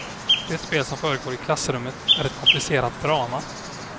Det spel som försiggår i klassrummet är ett komplicerat drama.